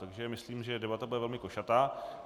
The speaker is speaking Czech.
Takže myslím, že debata bude velmi košatá.